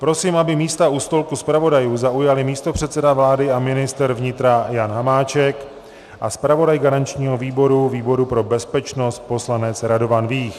Prosím, aby místa u stolku zpravodajů zaujali místopředseda vlády a ministr vnitra Jan Hamáček a zpravodaj garančního výboru, výboru pro bezpečnost, poslanec Radovan Vích.